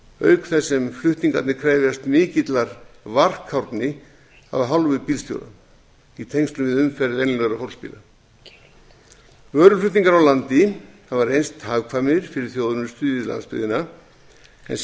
auk þess sem flutningarnir krefjast mikillar varkárni af hálfu bílstjóra í tengslum við umferð venjulegra fólksbíla vöruflutningar á landi hafa reynst hagkvæmir fyrir þjónustu við landsbyggðina en sjálfsagt